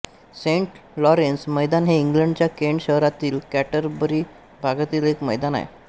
Saint Lawrence मैदान हे इंग्लंडच्या केंट शहरातील कॅंटरबरी भागातील एक मैदान आहे